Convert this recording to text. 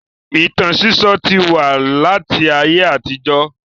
Ìtàn sísọ́ ti wà láti ayé àtijọ́